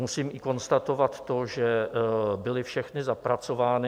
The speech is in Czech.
Musím i konstatovat to, že byly všechny zapracovány.